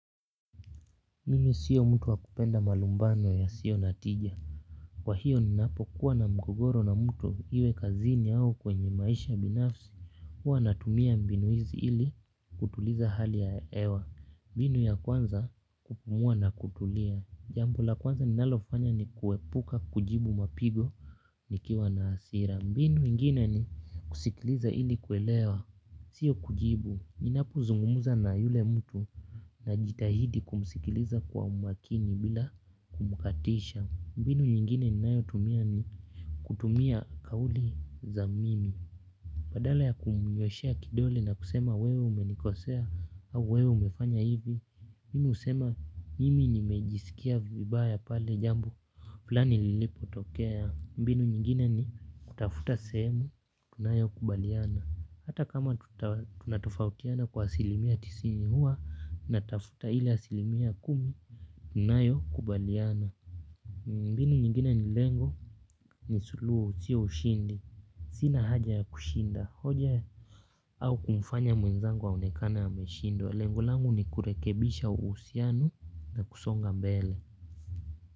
Mimi sio mtu wa kupenda malumbano yasio na tija. Kwa hiyo ninapokuwa na mgogoro na mtu iwe kazini au kwenye maisha binafsi. Huwa natumia mbinu hizi ili kutuliza hali ya ewa. Mbinu ya kwanza kupumua na kutulia. Jambo la kwanza ninalofanya ni kuepuka kujibu mapigo nikiwa na hasira. Mbinu ingine ni kusikiliza ili kuelewa. Sio kujibu. Ninapozungumza na yule mtu. Najitahidi kumsikiliza kwa umakini bila kumkatisha. Mbinu nyingine ninayo tumia ni kutumia kauli za mimi. Badala ya kumnyweshea kidole na kusema wewe umenikosea au wewe umefanya hivi. Mimi husema mimi nimejisikia vibaya pale jambo flani lilipotokea. Mbinu nyingine ni kutafuta sehemu tunayokubaliana. Hata kama tunatofautiana kwa asilimia tisini huwa natafuta ile asilimia kumi, tunayokubaliana. Mbinu nyingine ni lengo ni suluhu sio ushindi. Sina haja ya kushinda. Hoja au kumfanya mwenzangu aonekane ameshindwa. Lengo langu ni kurekebisha uhusiano na kusonga mbele.